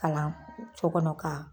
Kalan co kɔnɔ ka